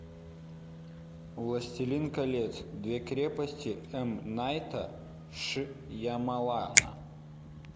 властелин колец две крепости эм найта шьямалана